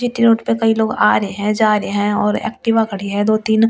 G T road पे कई लोग आ रहे हैं जा रहे हैं और एक्टिवा खड़ी है दो-तीन ।